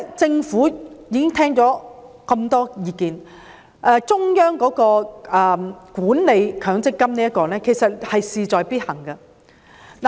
政府聆聽了這麼多意見，我認為中央管理強積金的模式是事在必行。